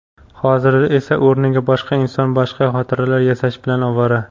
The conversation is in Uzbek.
Hozir esa o‘rniga boshqa inson boshqa xotiralar yasash bilan ovvora.